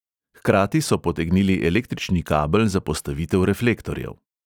Hkrati so potegnili električni kabel za postavitev reflektorjev.